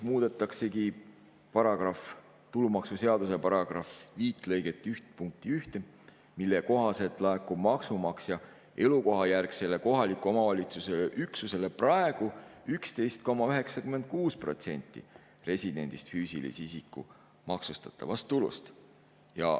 Muudetaksegi tulumaksuseaduse § 5 lõike 1 punkti 1, mille kohaselt laekub maksumaksja elukohajärgsele kohaliku omavalitsuse üksusele praegu 11,96% residendist füüsilise isiku maksustatavast tulust.